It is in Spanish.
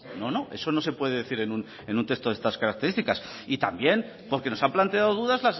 no no eso no se puede decir en un texto de estas características y también porque nos han planteado dudas